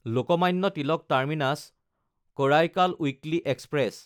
Lokmanya Tilak টাৰ্মিনাছ–কাৰাইকাল weekly express